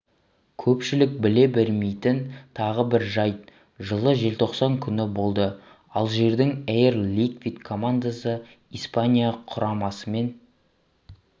көпшілік біле бермейтін тағы бір жайт жылы желтоқсан күні болды алжирдің эйр ликвид командасы испания құрамасымен